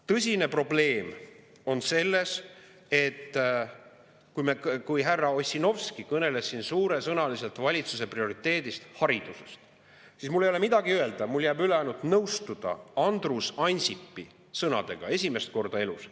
Tõsine probleem on selles, et kui härra Ossinovski kõneles siin suuresõnaliselt valitsuse prioriteedist haridusest, siis mul ei ole midagi öelda, mul jääb üle ainult nõustuda Andrus Ansipi sõnadega – esimest korda elus.